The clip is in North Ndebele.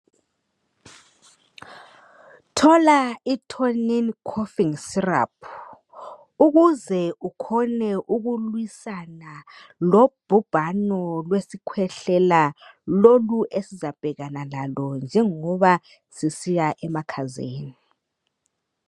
Thola i Tonin coughing syrup ukuze ukhone ukulwisana lobhubhano lesikhwehlela lolu esizabhekana lalo njengoba sisiya emakhazeni.